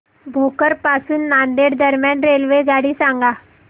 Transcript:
भोकर पासून नांदेड दरम्यान रेल्वेगाडी सांगा